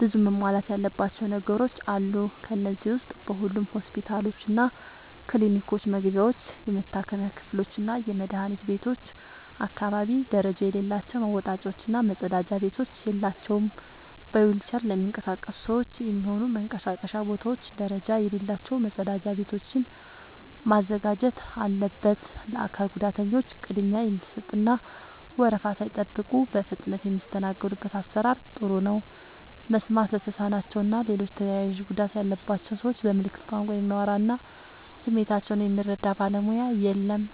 ብዙ መሟላት ያለባቸው ነገሮች አሉ። ከነዚህ ዉስጥ በሁሉም ሆስፒታሎችና ክሊኒኮች መግቢያዎች፣ የመታከሚያ ክፍሎችና የመድኃኒት ቤቶች አካባቢ ደረጃ የሌላቸው መወጣጫዎች እና መጸዳጃ ቤቶች የላቸውም። በዊልቸር ለሚንቀሳቀሱ ሰዎች የሚሆኑ መንቀሳቀሻ ቦታዎች ደረጃ የሌላቸው መጸዳጃ ቤቶችን ማዘጋጀት አለበት። ለአካል ጉዳተኞች ቅድሚያ የሚሰጥ እና ወረፋ ሳይጠብቁ በፍጥነት የሚስተናገዱበት አሰራር ጥሩ ነው። መስማት ለተሳናቸው እና ሌሎች ተያያዥ ጉዳት ያለባቸውን ሰዎች በምልክት ቋንቋ የሚያወራ እና ስሜታቸውን የሚረዳ ባለሙያ የለም።